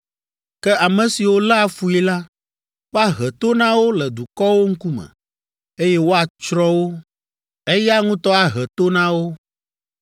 Ke ame siwo léa fui la, woahe to na wo le dukɔwo ŋkume, eye woatsrɔ̃ wo. Eya ŋutɔ ahe to na wo.